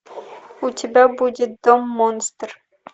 у тебя будет дом монстр